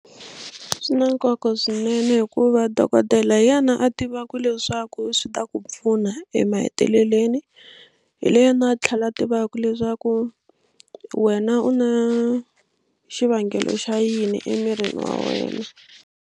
Swi na nkoka swinene hikuva dokodela hi yena a tivaka leswaku swi ta ku pfuna emahetelelweni hi yena a tlhela a tivaka leswaku wena u na xivangelo xa yini emirini wa wena.